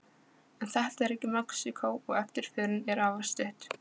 En þetta er ekki Mexíkó, og eftirförin er afar stutt.